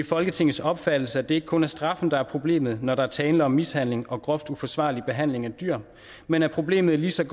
folketingets opfattelse at det ikke kun er straffen der er problemet når der er tale om mishandling og groft uforsvarlig behandling af dyr men at problemet i lige så